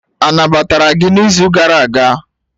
Anabatara gị n'izu gara aga?